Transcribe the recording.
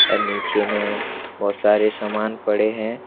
अ नीचे में बहोत सारे समान पड़े हैं।